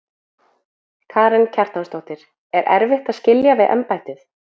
Karen Kjartansdóttir: Er erfitt að skilja við embættið?